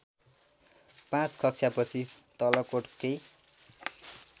पाँच कक्षापछि तलकोटकै